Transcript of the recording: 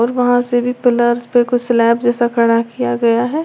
वहां से भी पिलर्स पे कुछ स्लैब जैसा खड़ा किया गया है।